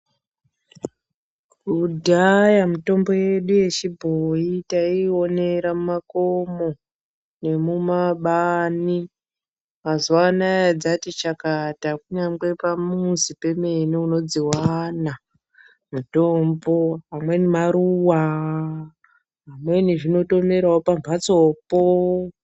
Kudhaya mitombo yechibhoi taiionera mumakomo nemumabani. Mazuwano dzati chakata kunyangwe pamuzi pemene unodziwana . pamweni maruwa pamweni dzinotongomerawo pambatso po.